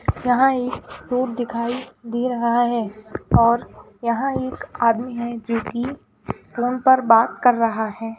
यहां एक रोड दिखाई दे रहा है और यहां एक आदमी है जो कि फोन पर बात कर रहा है।